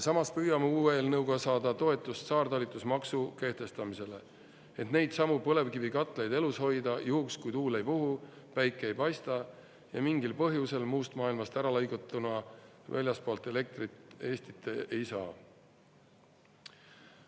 Samas püüame uue eelnõuga saada toetust saartalitusmaksu kehtestamisele, et neidsamu põlevkivikatlaid elus hoida juhuks, kui tuul ei puhu, päike ei paista ja mingil põhjusel muust maailmast äralõigatuna väljastpoolt elektrit Eestit ei saa.